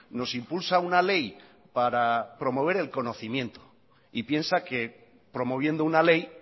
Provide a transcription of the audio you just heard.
nos impulsa una ley para promover el conocimiento y piensa que promoviendo una ley